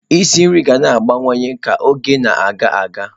Isi nri ga na-agbanwe ka oge na-aga aga.